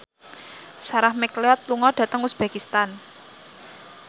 Sarah McLeod lunga dhateng uzbekistan